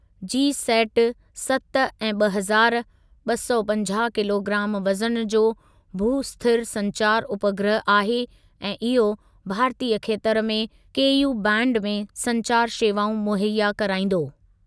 जी set सत ए ॿ हज़ार, ॿ सौ पंजाह किलोग्राम वज़न जो भू स्थिर संचारु उपग्रह आहे ऐं इहो भारतीयु खेतर में केयू बैंड में संचारु शेवाऊं मुहैया कराईंदो।